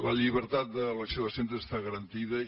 la llibertat d’elecció de centre està garantida i